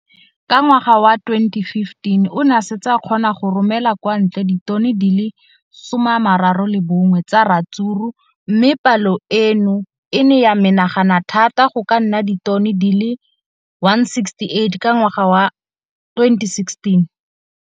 Ka ngwaga wa 2015, o ne a setse a kgona go romela kwa ntle ditone di le 31 tsa ratsuru mme palo eno e ne ya menagana thata go ka nna ditone di le 168 ka ngwaga wa 2016.